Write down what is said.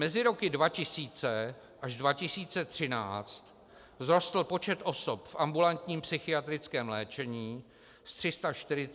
Mezi roky 2000 až 2013 vzrostl počet osob v ambulantním psychiatrickém léčení z 340 na více než 640 tisíc.